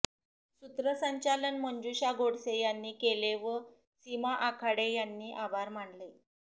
सूत्रसंचालन मंजुषा गोडसे यांनी केले व सीमा आखाडे यांनी आभार मानले